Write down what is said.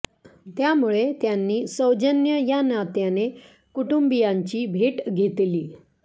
त्यामुळे त्यांनी सौजन्य या नात्याने कुटुंबीयांची भेट घेतली